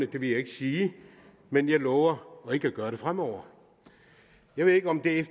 det vil jeg ikke sige men jeg lover ikke at gøre det fremover jeg ved ikke om det er